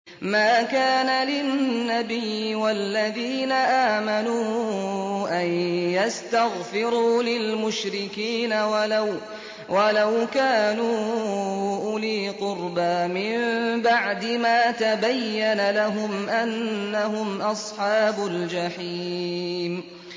مَا كَانَ لِلنَّبِيِّ وَالَّذِينَ آمَنُوا أَن يَسْتَغْفِرُوا لِلْمُشْرِكِينَ وَلَوْ كَانُوا أُولِي قُرْبَىٰ مِن بَعْدِ مَا تَبَيَّنَ لَهُمْ أَنَّهُمْ أَصْحَابُ الْجَحِيمِ